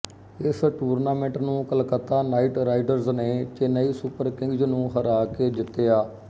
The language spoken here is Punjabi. ਇਸ ਟੂਰਨਾਮੈਂਟ ਨੂੰ ਕਲਕੱਤਾ ਨਾਈਟ ਰਾਈਡਰਸ ਨੇ ਚੇਨਈ ਸੁਪਰ ਕਿੰਗਜ਼ ਨੂੰ ਹਰਾ ਕੇ ਜਿੱਤਿਆ